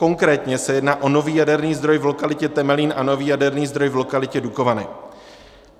Konkrétně se jedná o nový jaderný zdroj v lokalitě Temelín a nový jaderný zdroj v lokalitě Dukovany.